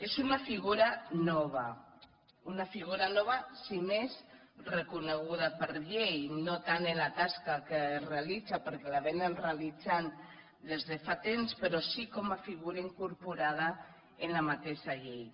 és una figura nova una figura nova si més no reconeguda per llei no tant en la tasca que realitza perquè la realitzen des de fa temps però sí que com a figura incorporada en la mateixa llei